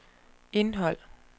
indhold